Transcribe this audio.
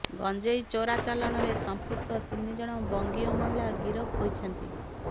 ଗଞ୍ଜେଇ ଚ଼ୋରାଚ଼ାଲାଣରେ ସମ୍ପୃକ୍ତ ତିନି ଜଣ ବଙ୍ଗୀୟ ମହିଳା ଗିରଫ ହୋଇଛନ୍ତି